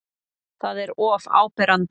Það er of áberandi.